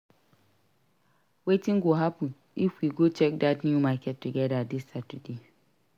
Wetin go happun if we go check dat new market together dis Saturday?